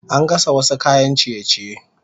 Ana gasa wasu kayan ciye-ciye